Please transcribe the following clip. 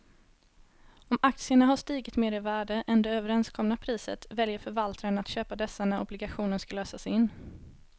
Om aktierna har stigit mer i värde än det överenskomna priset väljer förvaltaren att köpa dessa när obligationen ska lösas in.